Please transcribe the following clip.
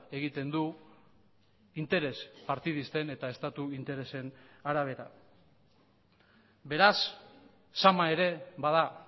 egiten du interes partidisten eta estatu interesen arabera beraz zama ere bada